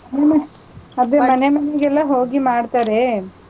ಹ್ಮ್ ಅದೇ ಮನೆ ಮನೆಗೆಲ್ಲಾ ಹೋಗಿ ಮಾಡ್ತಾರೆ,